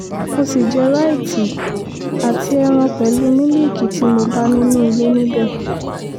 mo ṣì jẹ́ ráìtì àti ẹran pẹ̀lú mílíìkì tí mo bá nínú ilé níbẹ̀